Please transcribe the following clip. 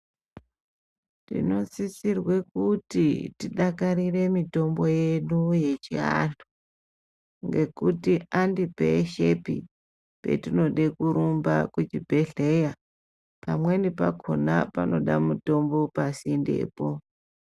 Tinosisirwe kuti tidakarire mitombo yedu yechianhu ngekuti andipeshepi petinode kurumba kuchibhedhleya. Pamweni pakhona panoda mutombo pasindepo.